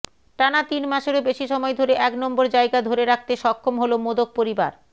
টানা তিনমাসেরও বেশি সময় ধরে এক নম্বর জায়গা ধরে রাখতে সক্ষম হল মোদক পরিবার